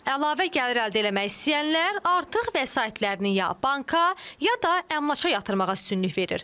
Əlavə gəlir əldə eləmək istəyənlər artıq vəsaitlərini ya banka, ya da əmlaka yatırmağa üstünlük verir.